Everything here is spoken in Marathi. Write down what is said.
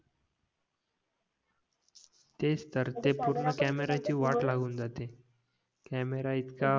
तेच तर कॅमेरा इतका